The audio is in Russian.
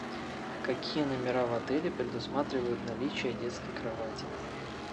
какие номера в отеле предусматривают наличие детской кровати